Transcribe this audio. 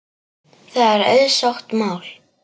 Það er auðsótt mál.